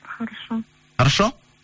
хорошо хорошо